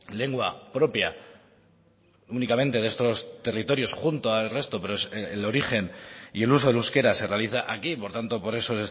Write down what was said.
lengua propia únicamente de estos territorios junto al resto pero es el origen y el uso del euskera se realiza aquí por tanto por eso